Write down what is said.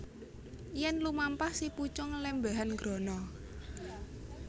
Yèn lumampah si pucung lèmbèhan grana